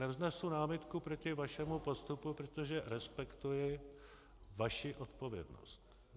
Nevznesu námitku proti vašemu postupu, protože respektuji vaši odpovědnost.